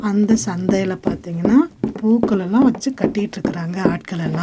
அந்த சந்தைல பாத்தீங்கன்னா பூக்கள் எல்லாம் வச்சி கட்டிட்ருக்காங்க ஆட்கள் எல்லா.